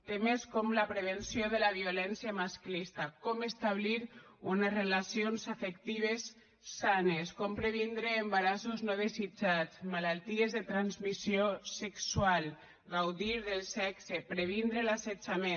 temes com la prevenció de la violència masclista com establir unes relacions afectives sanes com previndre embarassos no desitjats malalties de transmissió sexual gaudir del sexe previndre l’assetjament